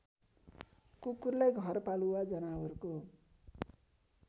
कुकुरलाई घरपालुवा जनावरको